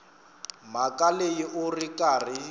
mhaka leyi u ri karhi